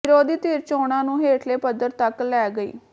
ਵਿਰੋਧੀ ਧਿਰ ਚੋਣਾਂ ਨੂੰ ਹੇਠਲੇ ਪੱਧਰ ਤਕ ਲੈ ਗਈ